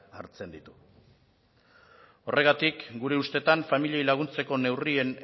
hartzen ditu horregatik gure ustetan familiei laguntzeko neurrien